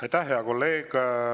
Aitäh, hea kolleeg!